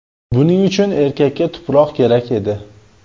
Buning uchun erkakka tuproq kerak edi.